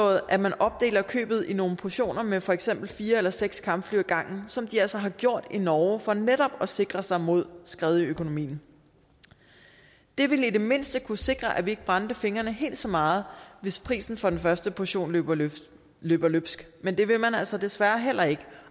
at man opdeler købet i nogle portioner med for eksempel fire eller seks kampfly ad gangen som de altså har gjort i norge for netop at sikre sig mod skred i økonomien det ville i det mindste kunne sikre at vi ikke brændte fingrene helt så meget hvis prisen for den første portion løber løbsk løber løbsk men det vil man altså desværre heller ikke